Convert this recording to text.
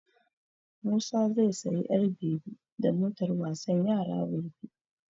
Musa zai sayi ƴar bebi da motar wasan yara gobe.